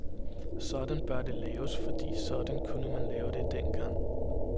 Sådan bør det laves, fordi sådan kunne man lave det engang.